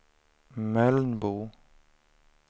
Mölnbo